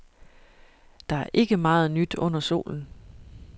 Der er ikke meget nyt under solen.